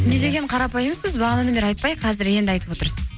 не деген қарапайымсыз бағанадан бері айтпай қазір енді айтып отырсыз